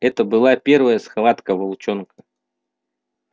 это была первая схватка волчонка